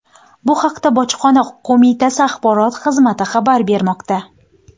Bu haqda Bojxona qo‘mitasi axborot xizmati xabar bermoqda.